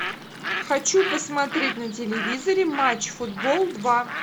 хочу посмотреть на телевизоре матч футбол два